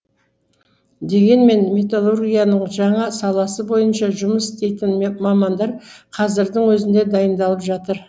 дегенмен металлургияның жаңа саласы бойынша жұмыс істейтін мамандар қазірдің өзінде дайындалып жатыр